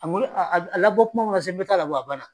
A malo a a a labɔ kuma ma se n bɛ taa labɔ a bana.